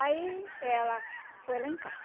Aí ela foi lá em casa.